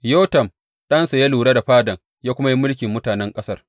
Yotam ɗansa ya lura da fadan ya kuma yi mulkin mutanen ƙasar.